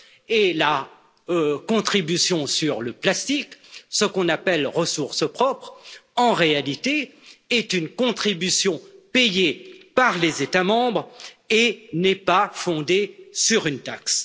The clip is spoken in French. Et la contribution sur le plastique, que l'on appelle ressource propre, est en réalité une contribution payée par les États membres et n'est pas fondée sur une taxe.